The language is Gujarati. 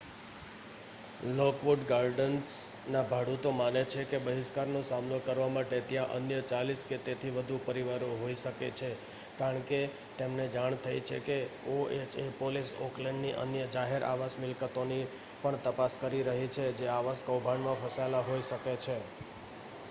લોકવુડ ગાર્ડન્સના ભાડૂતો માને છે કે બહિષ્કારનો સામનો કરવા માટે ત્યાં અન્ય 40 કે તેથી વધુ પરિવારો હોઈ શકે છે કારણ કે તેમને જાણ થઈ છે કે ઓએચએ પોલીસ ઓકલેન્ડની અન્ય જાહેર આવાસ મિલકતોની પણ તપાસ કરી રહી છે જે આવાસ કૌભાંડમાં ફસાયેલા હોઈ શકે છે